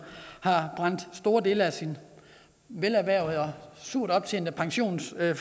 har brændt store dele af sin velerhvervede og surt optjente pensionsformue af